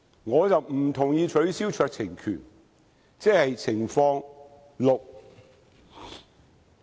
我不同意取消酌情權，即是情況六。